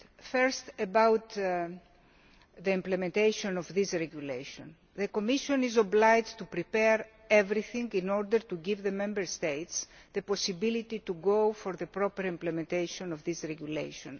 Firstly, on the implementation of this regulation, the Commission is obliged to prepare everything in order to give the Member States the possibility to go for the proper implementation of this regulation.